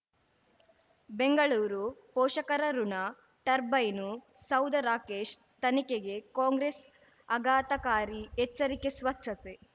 ಬೆಂಗಳೂರು ಪೋಷಕರಋಣ ಟರ್ಬೈನು ಸೌಧ ರಾಕೇಶ್ ತನಿಖೆಗೆ ಕಾಂಗ್ರೆಸ್ ಆಘಾತಕಾರಿ ಎಚ್ಚರಿಕೆ ಸ್ವಚ್ಛತೆ